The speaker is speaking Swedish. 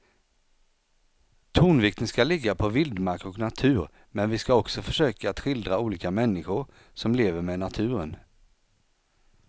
Tonvikten ska ligga på vildmark och natur men vi ska också försöka att skildra olika människor som lever med naturen.